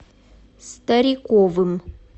стариковым